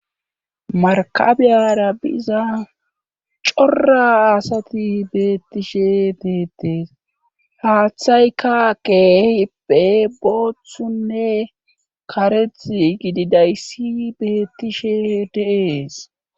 Markabeara biza cora asati beettishe deettees haaththaykaqepe booththunne kareth gididayssi beettishe deees